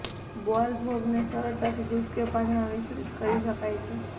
બાલભોગને સરળતાથી દૂધ કે પાણીમાં મિશ્રિત કરી શકાય છે